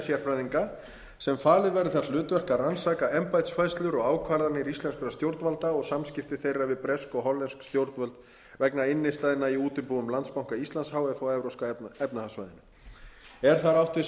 sérfræðinga sem falið verður það hlutverk að rannsaka embættisfærslur og ákvarðanir íslenskra stjórnvalda og samskipti þeirra við bresk og hollensk stjórnvöld vegna innstæðna í útibúum landsbanka íslands h f á evrópska efnahagssvæðinu er þar átt við